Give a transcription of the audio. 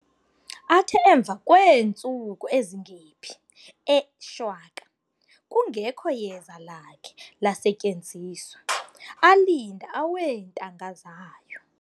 Athe emva kweentsuku ezingephi, ee shwaka kungekho yeza lakhe lasetyenziswa, alinda aweentanga zayo.